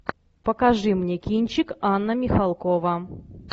покажи мне кинчик анна михалкова